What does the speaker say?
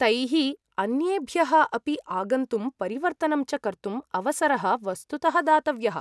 तैः अन्येभ्यः अपि आगन्तुं परिवर्तनं च कर्तुम् अवसरः वस्तुतः दातव्यः।